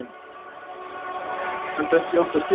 Enda ekki átt það skilið.